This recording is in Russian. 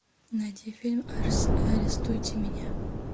найди фильм арестуйте меня